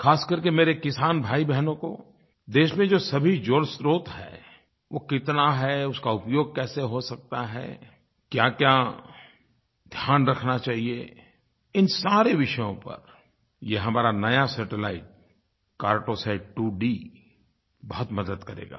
ख़ास करके मेरे किसान भाईबहनों को देश में जो सभी जल स्रोत है वो कितना है उसका उपयोग कैसे हो सकता है क्याक्या ध्यान रखना चाहिए इन सारे विषयों पर ये हमारा नया सैटेलाइट कार्टोसैट 2D बहुत मदद करेगा